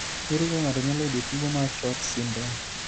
Ere kaka ng'ato nyalo yudo tuwo mar SHORT syndrome?